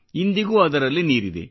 ಇಂದಿಗೂ ಅದರಲ್ಲಿ ನೀರಿದೆ